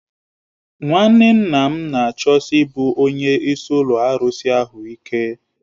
Nwanne nna m na-achọsi ịbụ onye isi ụlọ arụsị ahụ ike